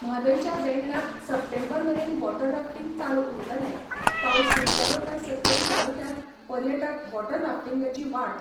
म्हादयच्या देंगणांत सप्टेंबर मेरेन वॉटर राफ्टींग चालू उरतलें पावस सुरू जालो काय सत्तरी तालुक्यांत पर्यटक वॉटर राफ्टींगची वाट